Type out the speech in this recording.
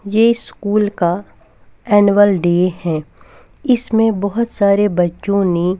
ये स्कूल का annual day है इसमें बहुत सारे बच्चों ने --